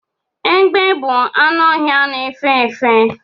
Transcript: Egbe bụ anụ ọhịa na efe efe